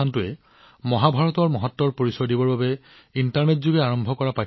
প্ৰতিষ্ঠানটোৱে আন দেশৰ লোকসকলক মহাভাৰতৰ গুৰুত্বৰ সৈতে পৰিচিত কৰিবলৈ অনলাইন পাঠ্যক্ৰম আৰম্ভ কৰিছে